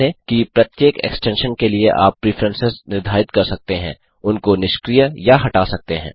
ध्यान दें कि प्रत्येक एक्सटेंशन के लिए आप प्रिफ्रेंसेस निर्धारित कर सकते हैं उनको निष्क्रिय या हटा सकते हैं